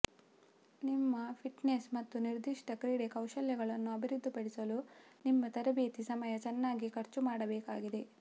ನಿಮ್ಮ ಫಿಟ್ನೆಸ್ ಮತ್ತು ನಿರ್ದಿಷ್ಟ ಕ್ರೀಡೆ ಕೌಶಲ್ಯಗಳನ್ನು ಅಭಿವೃದ್ಧಿಪಡಿಸಲು ನಿಮ್ಮ ತರಬೇತಿ ಸಮಯ ಚೆನ್ನಾಗಿ ಖರ್ಚು ಮಾಡಬೇಕಾಗಿದೆ